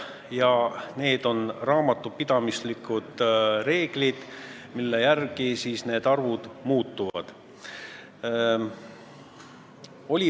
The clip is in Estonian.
Need on raamatupidamislikud reeglid, mille järgi need arvud muutuvad.